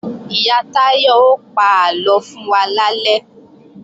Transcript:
Ìyá Táyọ ó pa àlọ fún wa lálẹ́